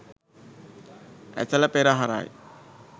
Esala පෙරහරයි.